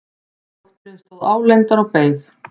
Dóttirin stóð álengdar og beið.